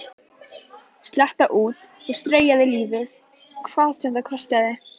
Slétta út og strauja lífið hvað sem það kostaði.